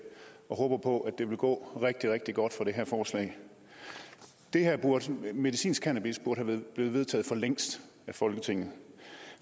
og håber på at det vil gå rigtig rigtig godt for det her forslag medicinsk cannabis burde være blevet vedtaget for længst af folketinget